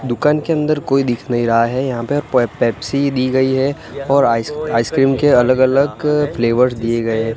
दुकान के अंदर कोई दिख नहीं रहा है यहां पे और पोइ पेप्सी दी गई है और आइस आइसक्रीम के अलग अलग फ्लेवर्स दिए गए--